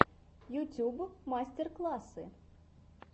ютуб мастер классы